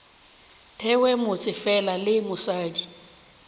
thewe motse fela le mosadi